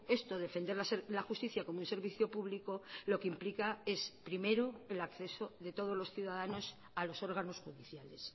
esto defender la justicia como un servicio público lo que implica es primero el acceso de todos los ciudadanos a los órganos judiciales